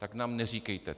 Tak nám neříkejte.